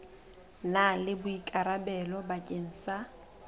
na le boikarabelo bakeng sa